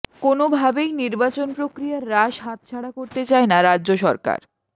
কোনওভাবেই নির্বাচন প্রক্রিয়ার রাশ হাতছাড়া করতে চায় না রাজ্য সরকার